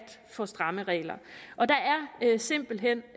for stramme regler og der er simpelt hen